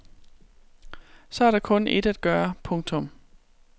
Så er der kun ét at gøre. punktum